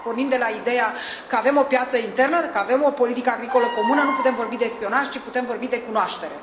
Dacă pornim de la ideea că avem o piață internă, dacă avem o politică agricolă comună, nu putem vorbi de spionaj, ci putem vorbi de cunoaștere.